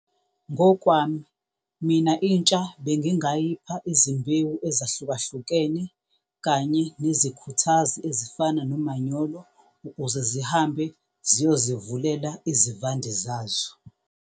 Ngokwami mina intsha bengingayipha izimbewu ezahlukahlukene kanye nezikhuthazi ezifana nomanyolo, ukuze zihambe ziyozivulela izivande zazo.